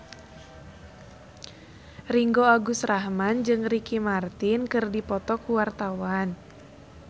Ringgo Agus Rahman jeung Ricky Martin keur dipoto ku wartawan